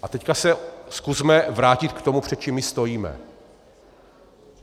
A teď se zkusme vrátit k tomu, před čím my stojíme.